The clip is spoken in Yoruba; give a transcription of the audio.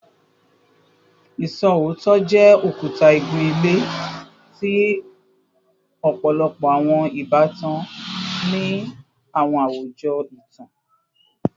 Iṣootọ jẹ okuta igun-ile ti ọpọlọpọ awọn ibatan ni awọn awujọ itan